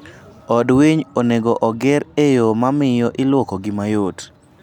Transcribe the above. Od winy onego oger e yo mamiyo iluoko gi mayot.